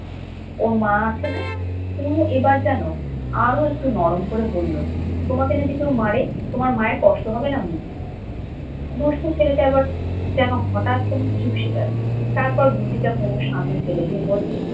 ওর মা আছে না? তনু এবার যেন আরো একটু নরম হয়ে করে বলল, তোমাকে যদি কেউ মারে, তোমার মায়ের কষ্ট হবে না বুঝি? দুষ্টু ছেলেটা এবার যেন হঠাৎ কেমন চুপসে গেলো। তারপর গুলতিটা তনুর সামনে ফেলে দিয়ে বলল,